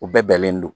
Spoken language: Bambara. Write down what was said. U bɛɛ bɛnnen don